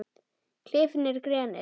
Klefinn er grenið.